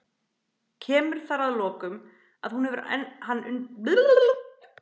Kemur þar að lokum, að hún hefur hann undir og nær á honum kverkataki.